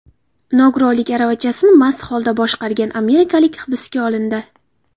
Nogironlik aravachasini mast holda boshqargan amerikalik hibsga olindi.